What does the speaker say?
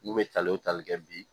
N'u bɛ tal'u tali kɛ bi